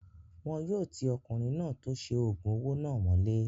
Wọn yóò ti ọkùnrin náà tó ṣe oògùn owó náà mọ́lé